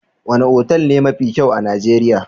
Wane otal ne mafi kyau a Nijeriya?